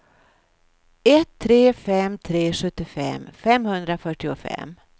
ett tre fem tre sjuttiofem femhundrafyrtiofem